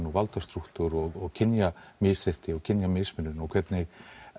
og valdastrúktúr og kynjamisrétti og kynjamismunun og hvernig